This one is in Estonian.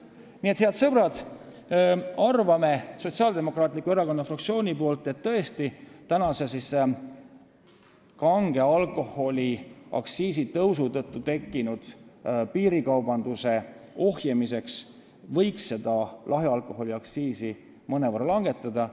Nii et, head sõbrad, me arvame Sotsiaaldemokraatliku Erakonna fraktsioonis, et tõesti võiks kange alkoholi aktsiisi tõusu tõttu tekkinud piirikaubanduse ohjeldamiseks lahja alkoholi aktsiisi mõnevõrra langetada.